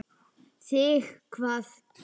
Þig hvað?